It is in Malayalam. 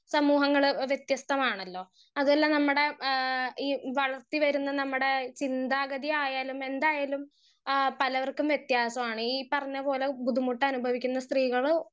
സ്പീക്കർ 1 സമൂഹങ്ങൾ വെത്യസ്തമാണലോ അതുല്ല നമമടെ ഏഹ് ഈ വളർത്തി വരുന്ന നമ്മടെ ചിന്താഗതി ആയാലും എന്തായാലും ആ പലവർക്കും വെത്യാസാണ് ഈ പറഞ്ഞപോലെ ബുദ്ധിമുട്ട് അനുഭവിക്കുന്ന സ്ത്രീകൾ